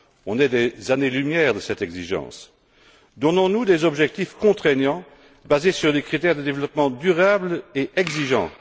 On est à des années lumière de cette exigence! Donnons nous des objectifs contraignants basés sur des critères de développement durable et exigeants.